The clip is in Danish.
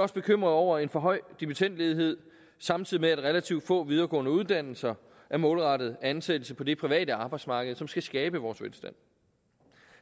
også bekymret over en for høj dimittendledighed samtidig med at relativt få videregående uddannelser er målrettet ansættelse på det private arbejdsmarked som skal skabe vores velstand